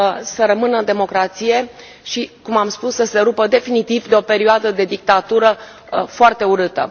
să rămână în democrație, și după cum am spus, să se rupă definitiv de o perioadă de dictatură foarte urâtă.